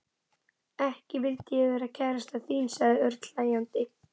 Ekki vildi ég vera kærastan þín sagði Örn hlæjandi.